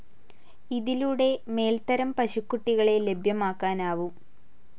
ഇതിലൂടെ മേൽത്തരം പശുക്കുട്ടികളെ ലഭ്യമാക്കാനാവും.